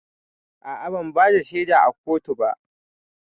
A'a, ban bada shaida a kotu ba